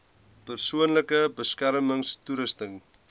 persoonlike beskermings toerusting